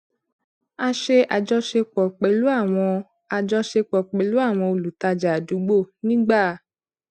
a ṣe ajọṣepọ pẹlú àwọn ajọṣepọ pẹlú àwọn olùtajà àdúgbò nígbà